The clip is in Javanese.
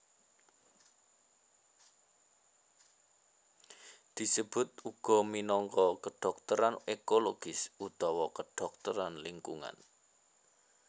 Disebut uga minangka kedhokteran ekologis utawa kedhokteran lingkungan